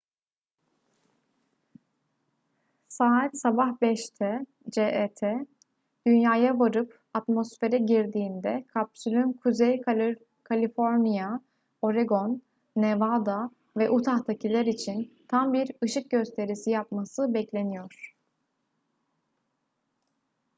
saat sabah 5’te cet dünya'ya varıp atmosfere girdiğinde kapsülün kuzey kaliforniya oregon nevada ve utah'takiler için tam bir ışık gösterisi yapması bekleniyor